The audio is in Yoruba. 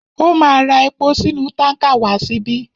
Ó ma ra epo sínú tánkà wá síbí.